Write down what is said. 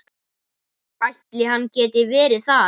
Ætli hann geti verið þar?